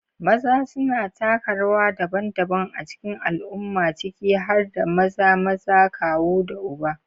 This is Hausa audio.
Maza suna taka rawa daban-daban a cikin al'umma, ciki har da maza, maza, kawu, da uba.